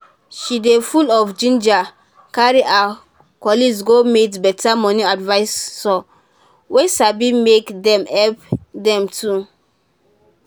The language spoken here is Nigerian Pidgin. she dey full of ginger carry her colleagues go meet better money adviisor wey sabi make dem help them too.